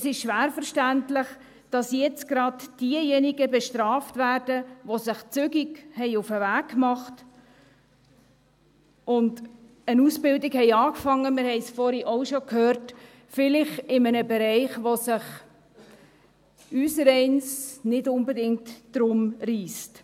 Es ist schwer verständlich, dass jetzt gerade diejenigen bestraft werden, die sich zügig auf den Weg gemacht und eine Ausbildung begonnen haben – wir haben es vorhin auch schon gehört –, vielleicht in einem Bereich, um den sich unsereins nicht gerade reisst.